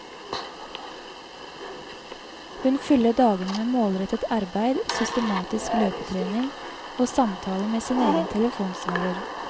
Hun fyller dagene med målrettet arbeid, systematisk løpetrening og samtaler med sin egen telefonsvarer.